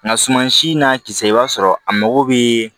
Nka suman si n'a kisɛ i b'a sɔrɔ a mago bɛ